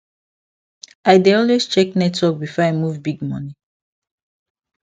i dey always check network before i move big money